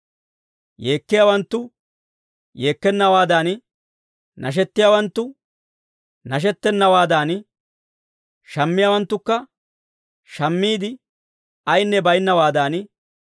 Yeekkiyaawanttu yeekkennawaadan, nashettiyaawanttu nashettennawaadan, shammiyaawanttukka shammiide ayinne baynnawaadan,